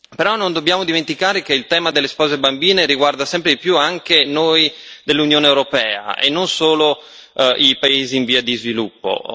Però non dobbiamo dimenticare che il tema delle spose bambine riguarda sempre di più anche noi dell'Unione europea e non solo i paesi in via di sviluppo.